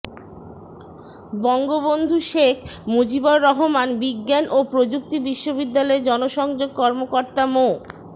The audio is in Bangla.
বঙ্গবন্ধু শেখ মুজিবুর রহমান বিজ্ঞান ও প্রযুক্তি বিশ্ববিদ্যালয়ের জনসংযোগ কর্মকর্তা মো